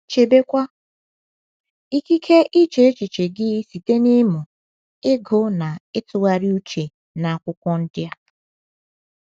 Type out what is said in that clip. Chebekwa ikike iche echiche gị site n’ịmụ, ịgụ na ịtụgharị uche n’Akwụkwọ ndi a